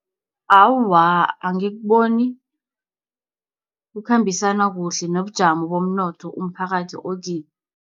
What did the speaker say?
Awa, angikuboni, kukhambisana kuhle nobujamo bomnotho umphakathi okibo.